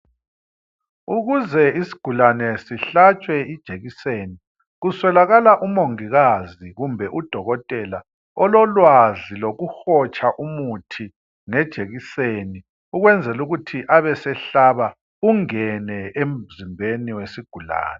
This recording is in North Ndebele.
Ukuze isigulane sihlatshwe ijekiseni, kuswelakala umongikazi kumbe udokotela ololwazi lokuhotsha umuthi ngejekiseni, ukwenzela ukuthi abesehlaba ,ungene emzimbeni wesigulane